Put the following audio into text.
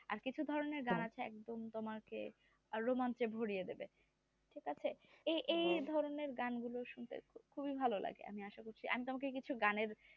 আর কিছু ধরণের গান আছে একদম তোমাকে romance এ ভরিয়ে দিবে ঠিক আছে এই ধরণের গান গুলো শুনতে খুবই ভালো লাগে আমি আশা করছি আমি তোমাকে কিছু গানের